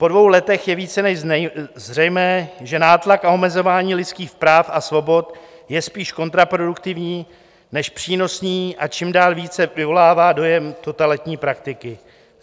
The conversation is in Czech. Po dvou letech je více než zřejmé, že nátlak a omezování lidských práv a svobod je spíš kontraproduktivní než přínosný a čím dál více vyvolává dojem totalitní praktiky.